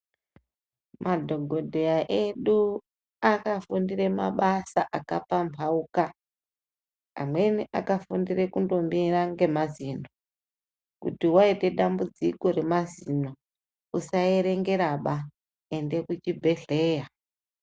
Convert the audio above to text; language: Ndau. Madhogodheya edu akafundire mabasa akapamhauka. Amweni akafundire kundomira ngemazino. Kuti waite dambudziko remazino, usaerengeraba, ende kuchibhedhlera.